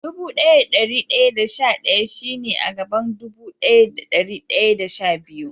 Dubu daya da dari daya da sha daya shi ne a gaban dubu daya da dari daya da sha biyu.